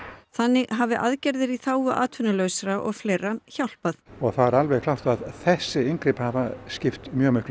þannig hafi aðgerðir í þágu atvinnulausra og fleira hjálpað það er alveg klárt að þessi inngrip hafa skipt